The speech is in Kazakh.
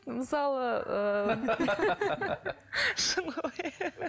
мысалы ыыы шын ғой